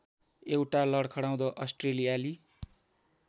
एउटा लडखडाउँदो अस्ट्रेलियाली